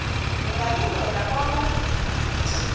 ungalindela bona